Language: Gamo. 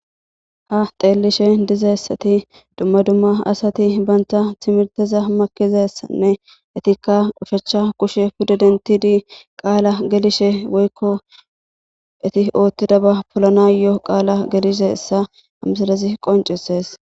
Ha xeelishe dizaysati dumma dumma asati banta timirteza makizaysanne etika kushe pude dentidi qaala gelishe woykko eti otidaba polanayo qaala gelizaysa ha misilezi qoncisesi.